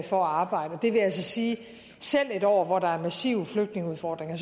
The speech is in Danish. for at arbejde det vil altså sige at selv i et år hvor der er massive flygtningeudfordringer